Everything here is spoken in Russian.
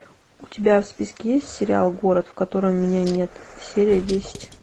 у тебя в списке есть сериал город в котором меня нет серия десять